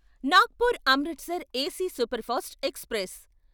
Nagpur Amritsar AC superfast express